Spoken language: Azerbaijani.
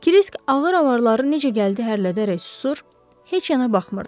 Kirisk ağır avarları necə gəldi hərlədərək susur, heç yana baxmırdı.